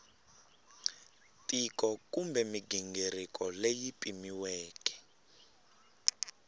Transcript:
tiko kumbe mighingiriko leyi pimiweke